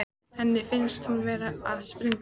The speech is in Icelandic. Henni finnst hún vera að springa.